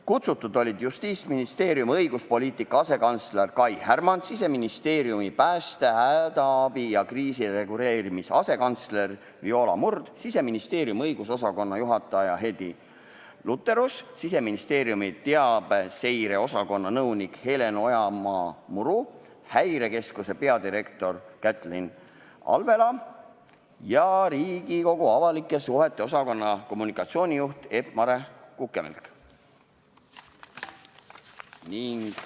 Kutsututest olid kohal Justiitsministeeriumi õiguspoliitika asekantsler Kai Härmand, Siseministeeriumi pääste, hädaabi ja kriisireguleerimise asekantsler Viola Murd, Siseministeeriumi õigusosakonna juhataja Heddi Lutterus, Siseministeeriumi teabeseireosakonna nõunik Helen Ojamaa-Muru, Häirekeskuse peadirektor Kätlin Alvela ja Riigikogu avalike suhete osakonna kommunikatsioonijuht Epp-Mare Kukemelk.